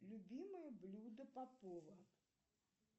любимое блюдо попова